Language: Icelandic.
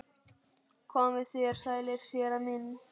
Komið þér sælir séra minn